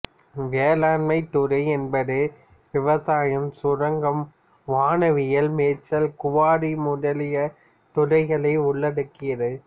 வேளாண்மை துறை என்பது விவசாயம் சுரங்கம் வனவியல் மேய்ச்சல் குவாரி முதலிய துறைகளை உள்ளடக்கியது